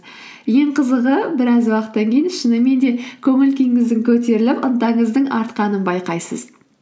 ең қызығы біраз уақыттан кейін шынымен де көңіл күйіңіздің көтеріліп ынтаңыздың артқанын байқайсыз